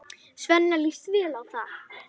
Svenna líst vel á það.